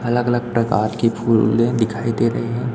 अलग अलग प्रकार की फूले दिखाई दे रही हैं।